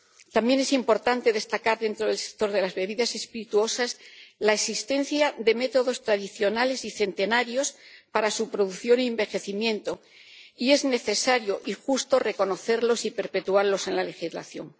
También es importante destacar, dentro del sector de las bebidas espirituosas, la existencia de métodos tradicionales y centenarios para su producción y envejecimiento, y es necesario y justo reconocerlos y perpetuarlos en la legislación.